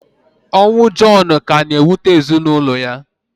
Ọnwụ Jọnu ka na-ewute ezinaụlọ ya.